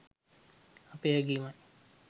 අපේ හැඟීමයි.